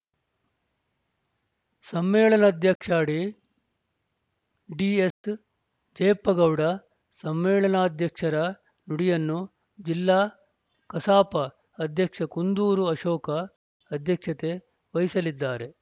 ಸಮ್ಮೇಳನಾಧ್ಯಕ್ಷಡಿ D S Jayappagowda ಸಮ್ಮೇಳನಾಧ್ಯಕ್ಷರ ನುಡಿಯನ್ನು ಜಿಲ್ಲಾ ಕಸಾಪ ಅಧ್ಯಕ್ಷ ಕುಂದೂರು ಅಶೋಕ ಅಧ್ಯಕ್ಷತೆ ವಹಿಸಲಿದ್ದಾರೆ